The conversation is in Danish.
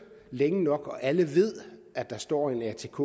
længe nok hvor alle ved at der står en atk